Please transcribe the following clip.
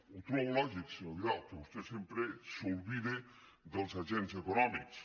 ho trobo lògic senyor vidal que vostè sem·pre s’oblide dels agents econòmics